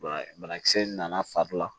Bana banakisɛ in nana fari la